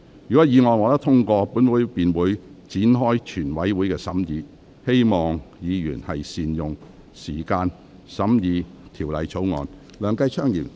如果議案獲得通過，本會便會展開全體委員會審議程序，請議員善用時間審議這項條例草案。